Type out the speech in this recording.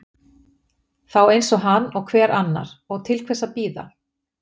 Þá eins hann og hver annar, og til hvers að bíða.